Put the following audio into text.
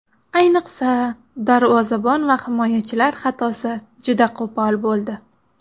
Ayniqsa, darvozabon va himoyachilar xatosi juda qo‘pol bo‘ldi.